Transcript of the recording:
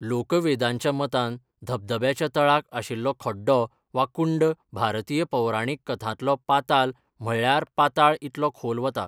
लोकवेदांच्या मतान धबधब्याच्या तळाक आशिल्लो खड्डो वा कुंड भारतीय पौराणीक कथांतलो पाताल म्हळ्यार पाताळ इतलो खोल वता.